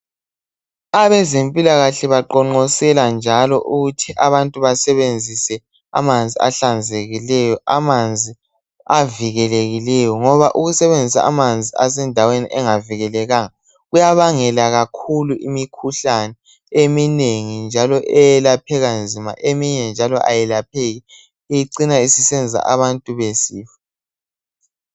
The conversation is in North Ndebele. Abezempilakahle baqhonqosela njalo ukuthi àbantu basebenzise amanzi ahlanzekileyo, amanzi avikelekileyo ngoba ukusebenzisa amanzi asendaweni engavikelekanga kuyabangela kakhulu imikhuhlane eminengi njalo eyelaphèka nzima, eminye njalo ayelapheki, ecina isisenza abantu besifa.